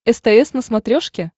стс на смотрешке